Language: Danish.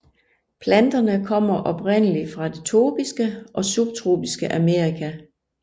Planterne kommer oprindelig fra det tropiske og subtropiske Amerika